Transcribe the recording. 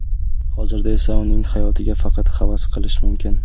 Hozirda esa uning hayotiga faqat havas qilish mumkin.